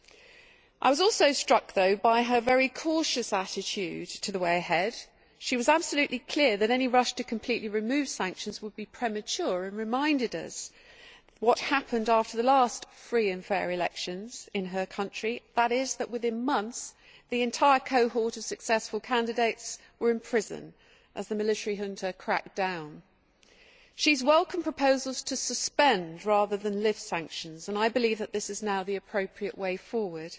However, I was also struck by her very cautious attitude to the way ahead. She was absolutely clear that any rush to completely remove sanctions would be premature and reminded us what happened after the last free and fair' elections in her country that is, within months, the entire cohort of successful candidates were in prison as the military junta cracked down. She has welcomed proposals to suspend rather than lift sanctions and I believe that this is now the appropriate way forward.